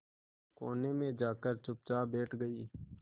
कोने में जाकर चुपचाप बैठ गई